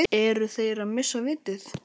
Eru þeir að missa vitið?